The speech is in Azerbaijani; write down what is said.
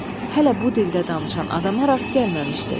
Hələ bu dildə danışan adama rast gəlməmişdi.